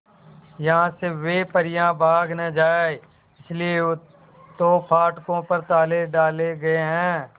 यहां से वे परियां भाग न जाएं इसलिए तो फाटकों पर ताले डाले गए हैं